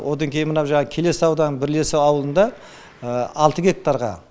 одан кейін мынау жаңағы келес ауданының бірлесу ауылында алты гектарға